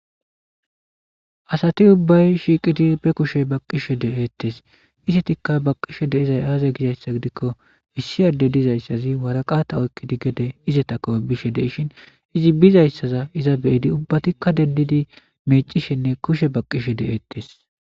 asati ubbay shiiqidi be kushe baqqishe de7eettes isetikka baqqishe deizay aaza gizayssa gidikko issi ade dizayssazi waraqata oykkidi gede izetako bishe deishin izi bizayssaza iza beyidi ubbatikka dendidi mecishenne kushe baqqishe de7eettes